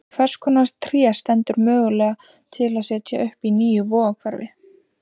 Hvers konar tré stendur mögulega til að setja upp í nýju Vogahverfi?